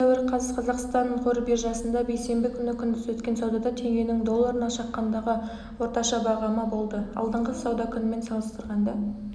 алматы сәуір қаз қазақстан қор биржасында бейсенбі күні күндіз өткен саудада теңгенің долларына шаққандағы орташа бағамы болды алдыңғы сауда күнімен салыстырғанда